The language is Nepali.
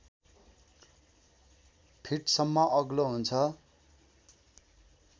फिटसम्म अग्लो हुन्छ